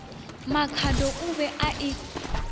makhado o be a e